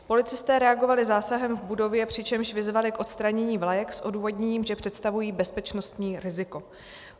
Policisté reagovali zásahem v budově, přičemž vyzvali k odstranění vlajek s odůvodněním, že představují bezpečnostní riziko.